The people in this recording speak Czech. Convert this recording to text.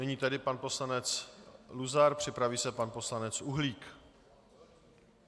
Nyní tedy pan poslanec Luzar, připraví se pan poslanec Uhlík.